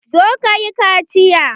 Zo ka yi kaciya!